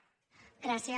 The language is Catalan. gràcies